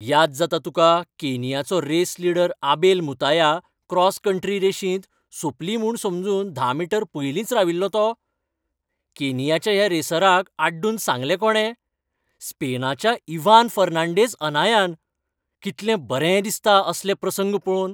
याद जाता तुका केनियाचो race leader Abel Mutai cross country रेशींत, सोंपली म्हूण समजून धा मीटर पयलींच राविल्लो तो? केनियाच्या ह्या रेसराक आड्डून सांगलें कोणे? स्पेनाच्या इव्हान फॅर्नांडेज अनायान. कितलें बरें दिसता असले प्रसंग पळोवन.